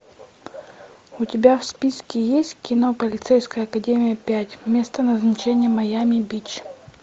у тебя в списке есть кино полицейская академия пять место назначения майами бич